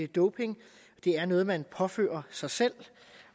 doping det er noget man påfører sig selv